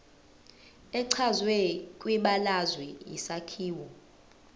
echazwe kwibalazwe isakhiwo